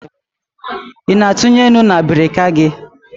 Ị na etunye nnu na abirika gị?